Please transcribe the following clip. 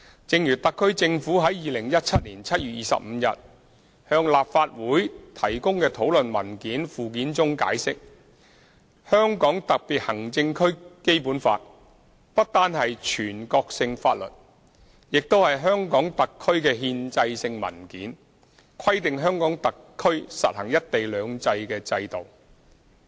正如特區政府在2017年7月25日向立法會提供的討論文件附件中解釋，《香港特別行政區基本法》不單是全國性法律，也是香港特區的憲制性文件，規定香港特區實行"一國兩制"的制度。